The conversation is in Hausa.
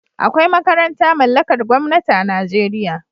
Akwai makaranta mallakar gwamnati a Najeriya